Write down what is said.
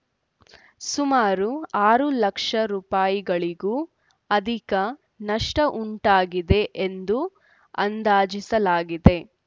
ಸುಮಾರು ಆರು ಲಕ್ಷ ರುಗಳಿಗೂ ಅಧಿಕ ನಷ್ಟವುಂಟಾಗಿದೆ ಎಂದು ಅಂದಾಜಿಸಲಾಗಿದೆ